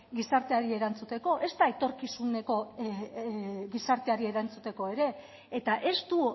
gizarteari erantzuteko ezta etorkizuneko gizarteari erantzuteko ere eta ez du